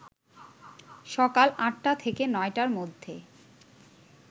সকাল ৮টা থেকে ৯টার মধ্যে